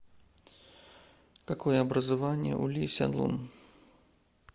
какое образование у ли сяньлун